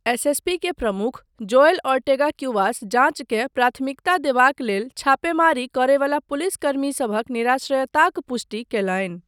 SSP के प्रमुख, Joel Ortega Cuevas जाँचकेँ प्राथमिकता देबाक लेल छापेमारी करयवला पुलिसकर्मीसभक निराश्रयताक पुष्टि कयलनि।